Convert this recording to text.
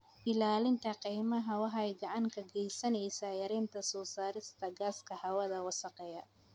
Ilaalinta kaymaha waxay gacan ka geysaneysaa yareynta soo saarista gaaska hawada wasakheeya.